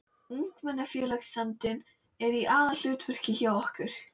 Ungmennafélagsandinn er í aðalhlutverki hjá okkur